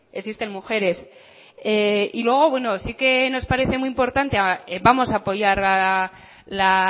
existen mujeres y luego bueno sí que nos parece muy importante vamos a apoyar la